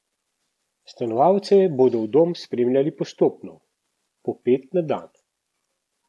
Stanovalce bodo v dom sprejemali postopno, po pet na dan.